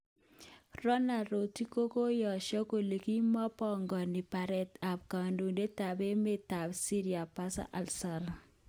Donald Rotich kokoyesho kole kimopogoni baret ab kondoidet ab emet tab Syria Bashar al asaad.